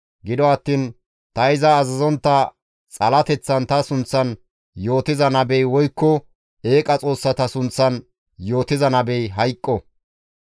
Gido attiin ta iza azazontta xalateththan ta sunththan yootiza nabey woykko eeqa xoossata sunththan yootiza nabey hayqqo.